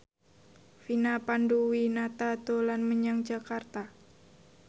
Vina Panduwinata dolan menyang Jakarta